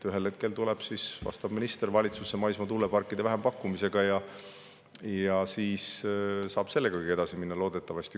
Ühel hetkel tuleb vastav minister valitsusse maismaa tuuleparkide vähempakkumisega ja siis saab loodetavasti sellegagi edasi minna.